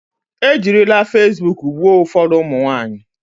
E jirile fasibuuku gbuo ụfọdụ ụmụ nwaanyị.